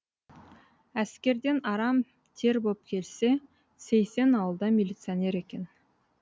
әскерден арам тер боп келсе сейсен ауылда милиционер екен